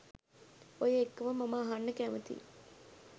ඔය එක්කම මම අහන්න කැමතියි